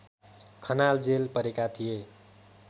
खनाल जेल परेका थिए